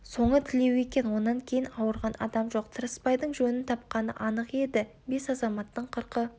соңы тілеу екен онан кейін ауырған адам жоқ тырыспайдың жөнін тапқаны анық еді бес азаматтың қырқы